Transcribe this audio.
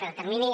pel termini